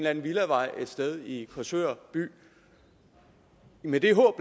anden villavej et sted i korsør by med det håb